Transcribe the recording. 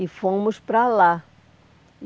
E fomos para lá.